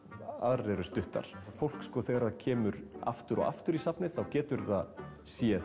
aðrar eru stuttar fólk sko þegar það kemur aftur og aftur í safnið þá getur það séð